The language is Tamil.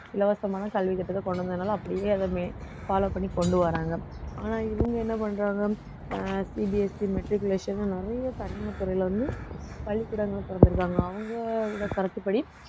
இலவசமான கல்வி திட்டத்தை கொண்டு வந்ததுனால அப்படியே அதை வே~ follow பண்ணி கொண்டு வராங்க ஆனா இவங்க என்ன பண்றாங்க அஹ் CBSEmatriculation ன்னு நிறைய தனியார் துறையில வந்து பள்ளிக்கூடங்களும் திறந்திருக்காங்க அவங்களோட கருத்துப்படி